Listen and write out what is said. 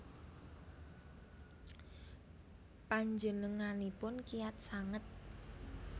Panjenenganipun kiyat sanget